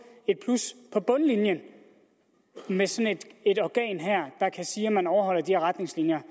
der bundlinjen med sådan et organ der kan sige om man overholder de retningslinjer